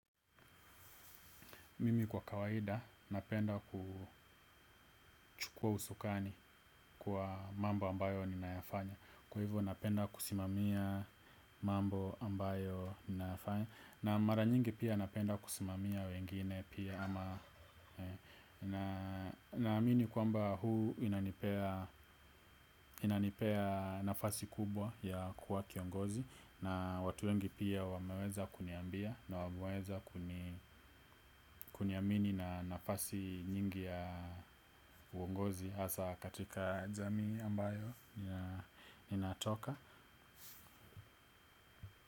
Mimi kwa kawaida napenda kuchukua usukani kwa mambo ambayo ninayafanya. Kwa hivyo napenda kusimamia mambo ambayo ninayafanya. Na mara nyingi pia napenda kusimamia wengine pia ama na amini kwa mba huu inanipea inanipea nafasi kubwa ya kuwa kiongozi. Na watu wengi pia wameweza kuniambia na wameweza kuniamini na nafasi nyingi ya uongozi hasa katika jamii ambayo inatoka.